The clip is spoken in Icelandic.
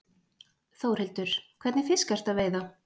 Þórhildur: Hvernig fisk ertu að veiða?